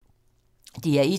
DR1